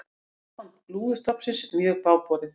Ástand lúðustofnsins mjög bágborið